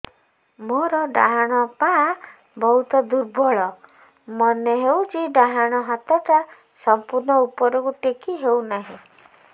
ମୋର ଡାହାଣ ପାଖ ବହୁତ ଦୁର୍ବଳ ମନେ ହେଉଛି ଡାହାଣ ହାତଟା ସମ୍ପୂର୍ଣ ଉପରକୁ ଟେକି ହେଉନାହିଁ